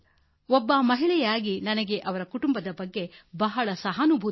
ನಾನೂ ಒಬ್ಬ ಮಹಿಳೆಯಾಗಿ ಆಕೆಯ ಕುಟುಂಬದ ಬಗ್ಗೆ ನನಗೆ ಬಹಳ